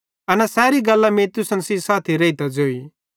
एना सैरी गल्लां मीं तुसन साथी रेइतां ज़ोई